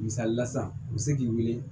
Misalila sisan u bɛ se k'i wele